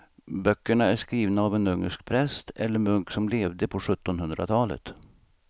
Böckerna är skrivna av en ungersk präst eller munk som levde på sjuttonhundratalet.